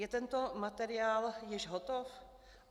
Je tento materiál již hotov?